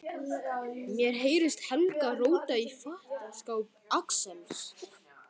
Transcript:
Mér heyrist Helgi róta í fataskáp Axels.